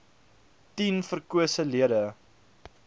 tien verkose lede